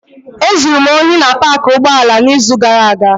Ezuru m ohi na paakị ụgbọala n'izu gara aga.